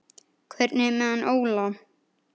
Hvernig er með hann Óla?